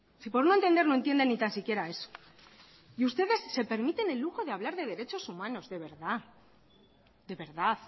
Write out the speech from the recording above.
si por no entender no entienden ni tan siquiera eso y ustedes se permiten el lujo de hablar de derechos humanos de verdad